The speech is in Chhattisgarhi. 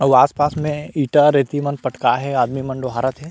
आऊ आस-पास में ईटा रेती मन पटकाये हे आदमी मन डोहारत हे।